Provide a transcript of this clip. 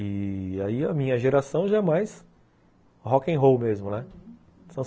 E aí a minha geração já é mais rock'n'roll mesmo, né? uhum